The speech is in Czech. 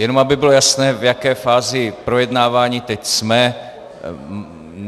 Jenom aby bylo jasné, v jaké fázi projednávání teď jsme.